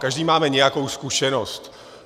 Každý máme nějakou zkušenost.